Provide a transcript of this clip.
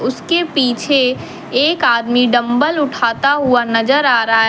उसके पीछे एक आदमी डंबल उठता हुआ नजर आ रहा है।